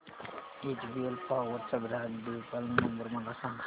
HBL power चा ग्राहक देखभाल नंबर मला सांगा